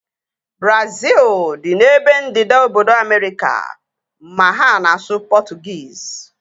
Brazil dị n'ebe ndịda obodo Amerịka ma ha na-asụ Portuguese